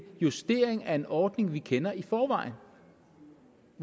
justering af en ordning vi kender i forvejen